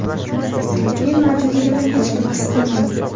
Men mavjudligimni hech kim his qilmaydi.